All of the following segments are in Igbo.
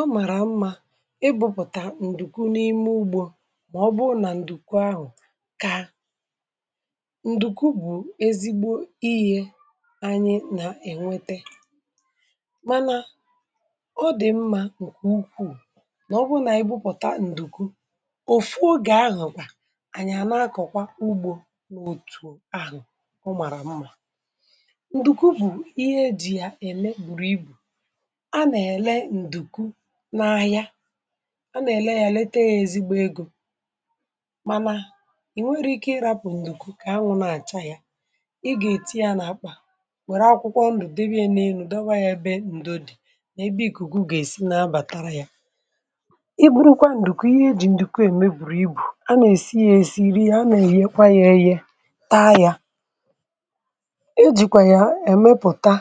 Omàrà mmȧ, ịbụ̇pụ̀tà ǹdùku n’ime ugbȯ màọbụrụ, nà ǹdùku ahụ̀, kà ǹdùku, bụ̀ ezigbo ihė, anyị nà-ènwete, mànà ọ dị̀ mmȧ, ǹkwà ukwù, nà ọ bụrụ, nà ịbụ̇pụ̀ta, ǹdùku, òfu ogè, ahụ̀ kwà ànyị̀, ànà, akọ̀kwa ugbȯ, n’òtù ahụ̀, ụmàrà mmà. ǹdùku, bụ̀ ihe e jì, yà ème, bùrù ibù, a nà-èle nduku na ahia, a nà-èle ya, lete ya, ezigbo egȯ, mànà, ì, nwere ike, ịrapụ̀ ǹdùkú, kà anwụ, na-àcha ya, ịgà-èti ya, nà-àkpà, wère akwụkwọ, ǹdùdebìe, n’elu̇, dawa ya, be, ǹdo, dì, ebe, ìkùkù, gà-èsi, na-abàtara ya, i gburukwa, ǹdùkú, ihe e jì, ǹdùkú, ème, bùrù ibù, a nà-èsi ya, èsi, iri ya, a nà-èye, kwa, ya, eyė, ya, taa, ya, e jìkwà ya, èmepùta,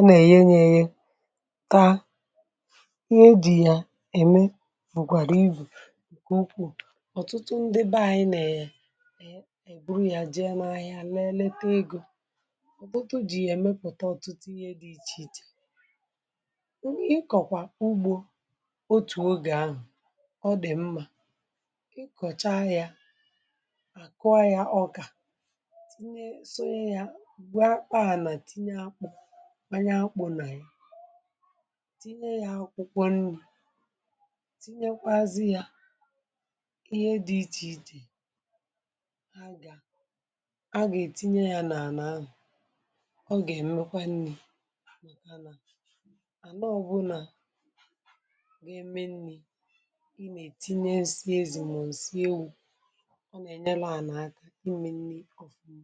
ọ nà-ènyere, taa, ihe dị̇ ya, ème, bụ̀kwàrà, ibù, ǹkè, nnukwu, ọ̀tụtụ, ndị be, ànyị, nà-ènyere, ị, bụrụ ya, jì ya, m, ahịa, nà-eleta, egȯ, ọ̀bụtụ, jì yà-èmepụ̀ta, ọ̀tụtụ, ihe, dị ichè ichè, ị, kọ̀kwà ugbȯ, otù ogè, ahụ̀, ọ dị̀ mmȧ, ị, kọ̀cha yȧ, àkụa yȧ, ọkà, kwanyẹ, akpụ̀, nà, anyị̀, tinye yà, akwụkwọnù, tinyekwazị, yà, ihe dị̀ ichè ichè, ha gà, ha gà, ètinye yà, n’àlà, ọ gà, ẹ̀mẹkwa, nni, màkà, nà ànọ, ọbụnà, gị, mmi nni̇, ị, nà, ètinye, ǹsị, ezùmà, ǹsị, ewu̇, ọ nà, ẹ̀nyẹlụ, à, nà, akȧ, ị, mmi̇, nni̇, ọ̀fuma,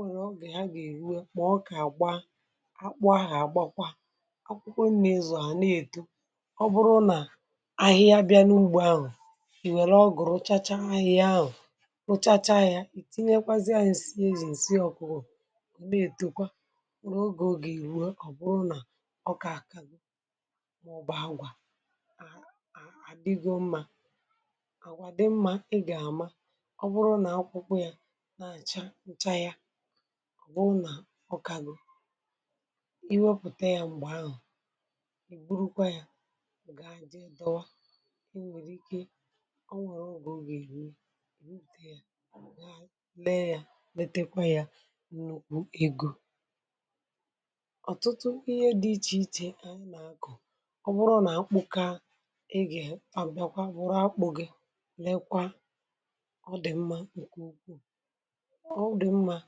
ọ nwèrè, ọ gà, agà, èruwe, mà, ọ, kà, àgba, akpụ, ahụ̀, àgbakwa, ọ kpụkpụ, nà, ịzụ̀, à, na-èto, ọ bụrụ, nà, ahịhịa, bịȧ, n’ugbo, ahụ̀, ìwère, ọgụ̀, rụchacha, ahịhịa, ahụ̀, rụchacha, yȧ, yà, ìtinyekwazịa, ǹsị, ezì, ǹsị, ọkụgụ, nà-ètòkwa, rụrụ, ogè, ọ gà, èruwe, ọ, bụrụ, nà, ọ, kà, àkàzụ, mà, ụbọ, agwà, à, àdịgo, mmȧ, ncha, ya, wụ, nà, ọkàgụ, i, wepụ̀ta, ya, m̀gbè, ahụ̀, ìgburukwa, ya, gà, àjị, dọwa, i, nwèrè, ike, ọ, nwèrè, ọgwụ̀, ògè, èrie, ògwè, ùte, ya, gà, lee, ya, letekwa, ya, nnukwu egȯ, ọ̀tụtụ, ihe, dị ichè ichè, ànyị, nà-akụ̀, ọ bụrụ, nà, akpụ, kà, e gè, ị, pàbịàkwa, bụ̀rụ, akpụ̇, gị, lẹkwa, ọ dị mmȧ,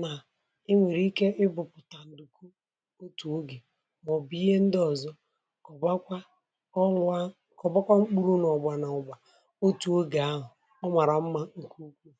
nà, e nwèrè, ike, ịbụ̇pụ̀tà, ǹdùkwu, otù ogè, mà, ọ̀ bụ̀, ihe, ndị, ọ̀zọ, kà, ọ, bụakwa, ọlụ̇a, kà, ọ, bụkwa, mkpụrụ, n’ọ̀gbȧ, n’ọ̀gbȧ, otù ogè, ahụ̀ ọ màrà mma ǹkè ukwuù.